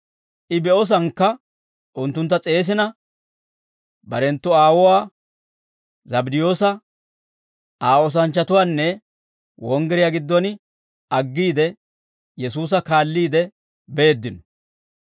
I be'osankka unttuntta s'eesina, barenttu aawuwaa, Zabddiyoosa, Aa oosanchchatuwanna wonggiriyaa giddon aggiide, Yesuusa kaalliide beeddino.